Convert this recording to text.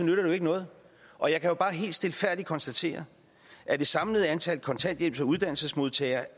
jo ikke noget og jeg kan jo bare helt stilfærdigt konstatere at det samlede antal kontanthjælps og uddannelsesmodtagere